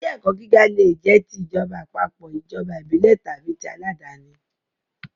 Ilé-ẹ̀kọ́ gíga leè jẹ́ ti ìjọba àpapọ̀, ìjọba ìbílẹ̀ tàbí ti àládàáni.